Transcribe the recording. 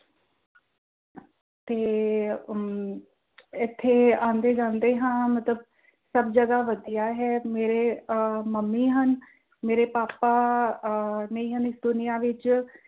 ਤੇ ਅਮ ਏਥੇ ਆਂਦੇ ਜਾਂਦੇ ਹਾਂ ਮਤਲਬ ਸਭ ਜਗ੍ਹਾ ਵਧੀਆ ਹੈ ਮੇਰੇ ਅਹ ਮੰਮੀ ਹਨ ਮੇਰੇ ਪਾਪਾ ਅਹ ਨਹੀਂ ਹਨ ਇਸ ਦੁਨਿਆ ਵਿੱਚ